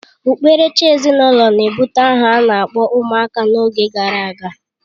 Okpukperechi ezinụlọ na-ebụte aha a na-akpọ ụmụaka n'oge gara aga